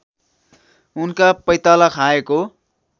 उनका पैताला खाएको